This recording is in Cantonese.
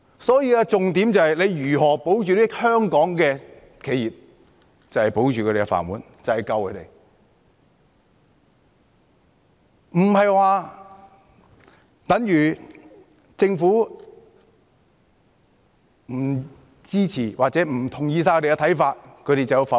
所以，重點是如何保住香港的企業，保住他們的"飯碗"，這便等於拯救他們，不應說政府不支持或不同意他們的看法，他們便否決。